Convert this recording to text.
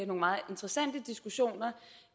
og meget interessante diskussioner